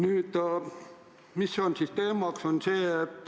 Aga mis on siis küsimuse teema?